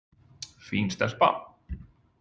Fín stelpa.